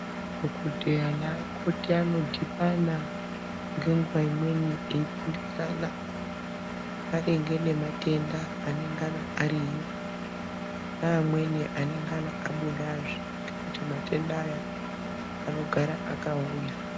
Dhokodheya nemikoti ano dhibana ngenguwa imweni eifundisana maringe nematenda neamweni anongana ariyo neamweni anongana abudazve ngekuti matenda awa anogara akauya.